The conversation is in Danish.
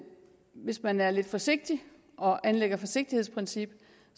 hvis man er lidt forsigtig og anlægger forsigtighedsprincip